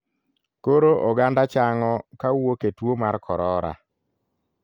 Koro oganda chang'o kawuok e tuo mar korora.